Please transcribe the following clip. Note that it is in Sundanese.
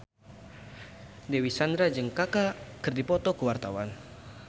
Dewi Sandra jeung Kaka keur dipoto ku wartawan